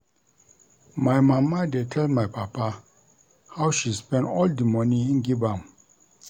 My mama dey tell my papa how she spend all di moni im give am.